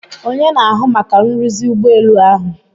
Onye na-ahụ maka nruzi ụgbọelu ahụ?